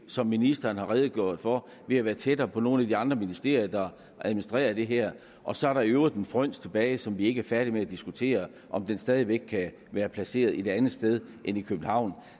som ministeren har redegjort for ved at være tættere på nogle af de andre ministerier der administrerer det her og så er der i øvrigt en fryns tilbage som vi ikke er færdige med at diskutere om den stadig væk kan være placeret et andet sted end i københavn